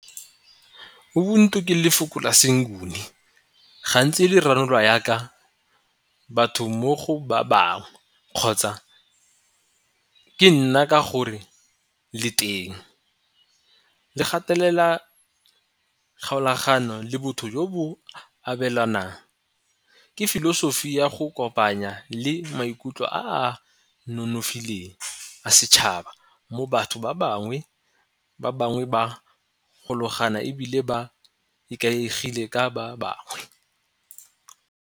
Ubuntu ke lefoko la senguni gantsi di ranolwa yaka batho mmogo ba bangwe kgotsa ke nna ka gore le teng le gatelela kgolagano le botho jo bo abelanang. Ke filosofi ya go kopanya le maikutlo a a nonofileng a setšhaba, mo batho ba bangwe ba bangwe ba gologana ebile ba ikaegile ka ba bangwe.